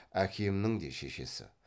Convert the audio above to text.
әкемнің де шешесі